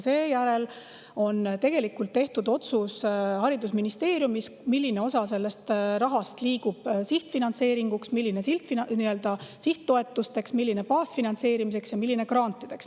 Seejärel teeb haridusministeerium otsuse, milline osa sellest rahast liigub sihtfinantseeringuks, milline sihttoetusteks, milline baasfinantseerimiseks ja milline grantideks.